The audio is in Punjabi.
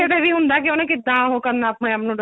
ਬੱਚੇ ਤੇ ਵੀ ਹੁੰਦਾ ਹੈ ਕਿ ਉਹਨੇ ਕਿੱਦਾਂ ਉਹ ਕਰਨਾ ਆਪਣੇ ਆਪ ਨੂੰ develop